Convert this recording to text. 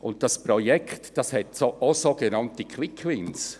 Zudem hat dieses Projekt auch sogenannte Quick-Wins.